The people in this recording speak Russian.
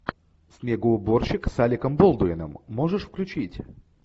снегоуборщик с алеком болдуином можешь включить